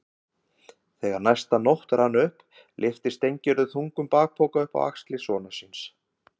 Þegar næsta nótt rann upp lyfti Steingerður þungum bakpoka upp á axlir sonar síns.